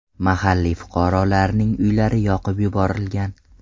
Mahalliy fuqarolarning uylari yoqib yuborilgan.